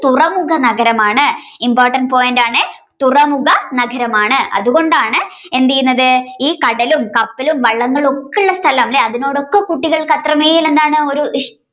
തുറമുഖ നഗരമാണ് important point ആണ് തുറമുഖ നഗരമാണ്. അതുകൊണ്ടാണ് എന്തെയ്യുന്നത് ഈ കടലും കപ്പലും വള്ളങ്ങളും ഒക്കെ ഉള്ള സ്ഥലം അല്ലേ അതിനോടൊക്കെ കുട്ടികൾക്കത്രമേൽ എന്താണ് ഒരു ഇഷ്ടം